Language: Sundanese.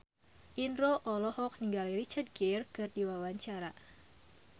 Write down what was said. Indro olohok ningali Richard Gere keur diwawancara